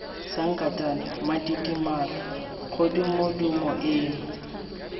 sankatane mma tidimalo kgodumodumo eno